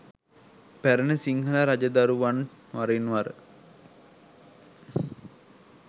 පැරැණි සිංහල රජදරුවන් වරින්වර